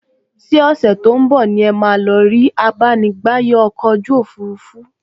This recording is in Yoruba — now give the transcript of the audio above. Ṣé ọ̀sẹ̀ tó ún bọ̀ ni ẹ máa lọ rí abánigbàyè ọkọ̀ ojú òfurufú??